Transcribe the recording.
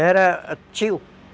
Era tio.